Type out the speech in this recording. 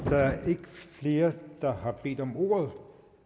der er ikke flere der har bedt om ordet